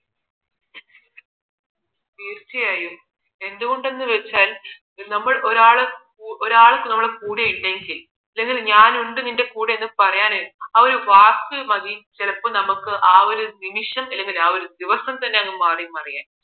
തീർച്ചയായും എന്ത് കൊണ്ടെന്ന് വച്ചാൽ നമ്മൾ ഒരാൾ ഒരാൾ നമ്മുടെ കൂടെ ഉണ്ടെങ്കിൽ ഞാനുണ്ട് നിന്റെ കൂടെ എന്ന് പറയാൻ ആ ഒരു വാക്ക് മതി ചെലപ്പോൾ നമുക്ക് ആ ഒരു നിമിഷം അല്ലെങ്കിൽ ആ ഒരു ദിവസം തന്നെ മാറി മറിയാൻ